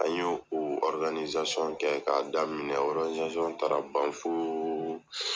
An ye o kɛ k'a daminɛ, taara ban fo